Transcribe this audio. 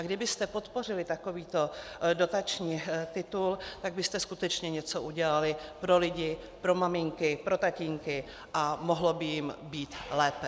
A kdybyste podpořili takovýto dotační titul, tak byste skutečně něco udělali pro lidi, pro maminky, pro tatínky a mohlo by jim být lépe.